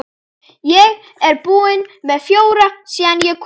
Ég er búinn með fjóra síðan ég kom.